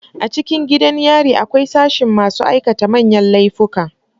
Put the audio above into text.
A cikin gidan yari akwai sashin masu aikata manyan layika